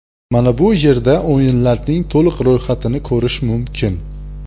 Mana bu yerda o‘yinlarning to‘liq ro‘yxatini ko‘rish mumkin.